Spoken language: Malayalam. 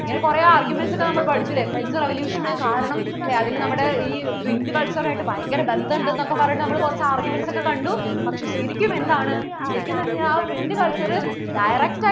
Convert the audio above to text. ഇങ്ങനെ കുറേ arguments ഒക്കെ നമ്മൾ പഠിച്ചില്ലേ French revolution ന് കാരണം അല്ലേ നമ്മടെ ഈ Print culture ആയിട്ട് ഭയങ്കര ബന്ധം ഉണ്ടെന്നു ഒക്കെ പറഞ്ഞിട്ട് നമ്മൾ കുറച്ചു arguments ഒക്കെ കണ്ടു പക്ഷേ ശരിക്കും എന്താണ് ശരിക്കും എന്ന് വെച്ച് കഴിഞ്ഞാൽ ആ Print culture direct ആയിട്ട്